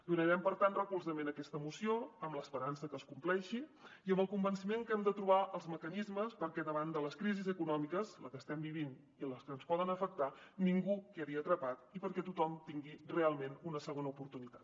donarem per tant recolzament a aquesta moció amb l’esperança que es compleixi i amb el convenciment que hem de trobar els mecanismes perquè davant de les crisis econòmiques la que estem vivint i les que ens poden afectar ningú hi quedi atrapat i perquè tothom tingui realment una segona oportunitat